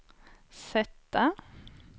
sätta